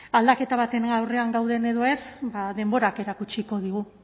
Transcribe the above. aldaketa baten aurrean gauden edo ez ba denborak erakutsiko digu